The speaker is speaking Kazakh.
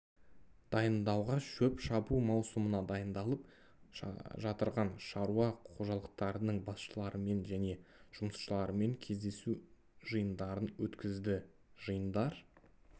дайындауға шөп шабу маусымына дайындалып жатырған шаруа қожалықтарынының басшыларымен және жұмысшыларымен кездесу жиындарын өткізді жиындар